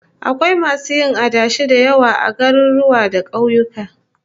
Akwai masu yin adashi da yawa a garuruwa da kauyuka